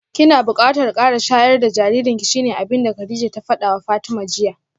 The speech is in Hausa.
Kina bukatar kara shayar da jaririnki shine abinda Kadijah ta fadawa Fatima jiya